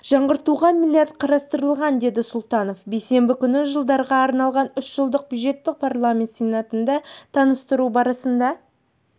жаңғыртуға миллиард қарастырылған деді сұлтанов бейсенбі күні жылдарға арналған үшжылдық бюджетті парламент сенатында таныстыру барысында